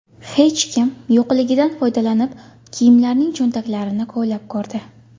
Hech kim yo‘qligidan foydalanib, kiyimlarning cho‘ntaklarini kovlab ko‘rdi.